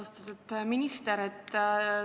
Austatud minister!